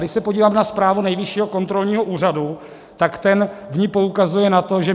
Když se podívám na zprávu Nejvyššího kontrolního úřadu, tak ten v ní poukazuje na to, že